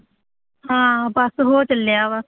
ਹਾਂ, ਬੱਸ ਹੋ ਚੱਲਿਆ